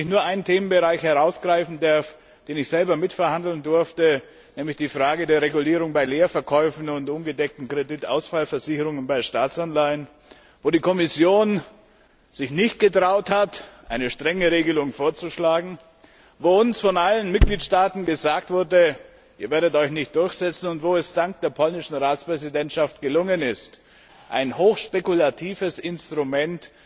Lassen Sie mich nur einen Themenbereich herausgreifen, den ich selber mitverhandeln durfte, nämlich die Frage der Regulierung bei Leerverkäufen und ungedeckten Kreditausfallversicherungen bei Staatsanleihen, wo die Kommission sich nicht getraut hat, eine strenge Regelung vorzuschlagen, wo uns von allen Mitgliedstaaten gesagt wurde Ihr werdet euch nicht durchsetzen, und wo es dank der polnischen Ratspräsidentschaft gelungen ist, ein hochspekulatives Instrument